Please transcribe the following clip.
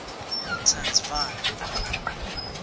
transvala